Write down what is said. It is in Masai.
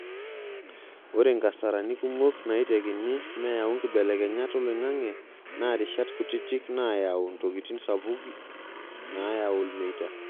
Ore nkasarani kumok naitekini meyau nkibelekenyat oloingange naa rishat kutitik naayau ntokiti sapuki naayau ilmeita.